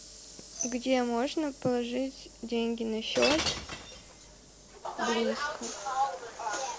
где можно положить деньги на счет близко